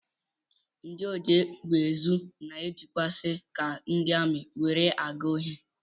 Ndị ojiegbeezu na-ejikwazi ka ndị amị were aga ohi